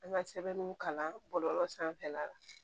An ka sɛbɛnw kalan bɔlɔlɔ sanfɛla la